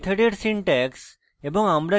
মেথডের syntax এবং